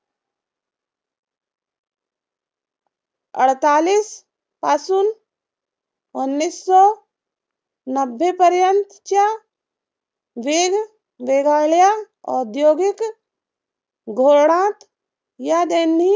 पासून पर्यंतच्या वेगवेगळ्या औद्योगीक धोरणात य